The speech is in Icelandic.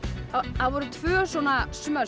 voru tvö svona